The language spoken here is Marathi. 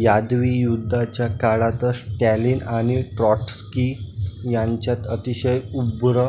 यादवी युद्धाच्या काळातच स्टालिन आणि ट्रॉट्स्की यांच्यात अतिशय उग्र